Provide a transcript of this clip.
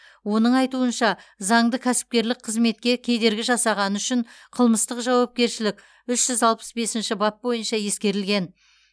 оның айтуынша заңды кәсіпкерлік қызметке кедергі жасағаны үшін қылмыстық жауапкершілік үш жүз алпыс бесінші бап бойынша ескерілген